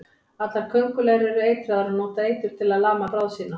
Allar köngulær eru eitraðar og nota eitur til að lama bráð sína.